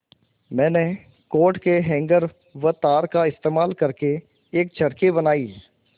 मैंने कोट के हैंगर व तार का इस्तेमाल करके एक चरखी बनाई